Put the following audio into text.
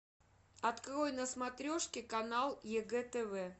открой на смотрешке канал егэ тв